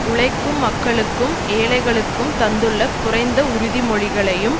உழைக்கும் மக்களுக்கும் ஏழைகளுக்கும் தந்துள்ள குறைந்த உறுதிமொழிகளையும்